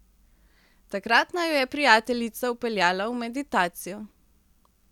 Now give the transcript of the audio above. Takrat naju je prijateljica vpeljala v meditacijo.